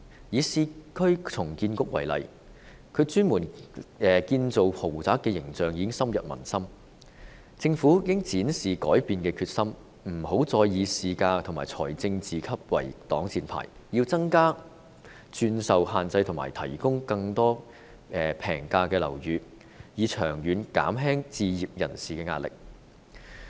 以市區重建局為例，其專門建造豪宅的形象已經深入民心，政府應展示改變的決心，不要再以市價和財政自負盈虧作為擋箭牌，要增加轉售限制及提供更多平價樓宇，以長遠減輕置業人士的壓力。